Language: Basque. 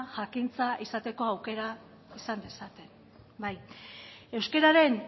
jakintza izateko aukera izan dezaten bai euskararen